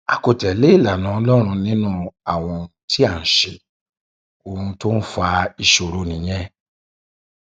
a kò tẹlé ìlànà ọlọrun nínú àwọn ohun tí à ń ṣe ohun tó ń fa ìṣòro nìyẹn